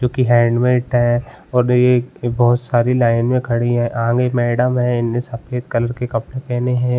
जोकि हेलमेट है बहुत सारी लाइन में खड़ी है मैडम है इनने सफ़ेद कलर के कपडे पहने हैं।